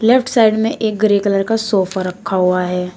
Left side में एक grey colour का सोफा रखा हुआ है।